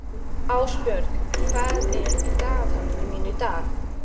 Ásbjörg, hvað er í dagatalinu mínu í dag?